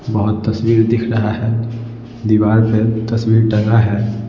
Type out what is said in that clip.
बहुत तस्वीर दिख रहा है दीवार पर तस्वीर टंगा है ।